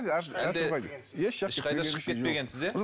ешқайда шығып кетпегенсіз иә